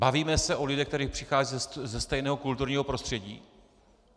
Bavíme se o lidech, kteří přicházejí ze stejného kulturního prostředí?